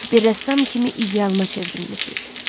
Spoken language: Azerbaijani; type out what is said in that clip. Bir rəssam kimi idealıma çevrilmisiniz.